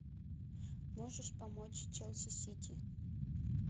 можешь помочь челси сити